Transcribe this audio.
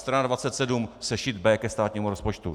Strana 27, sešit B ke státnímu rozpočtu.